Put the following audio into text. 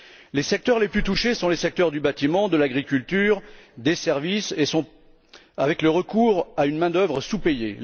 Les secteurs les plus touchés sont les secteurs du bâtiment, de l'agriculture, des services avec le recours à une main d'œuvre sous payée.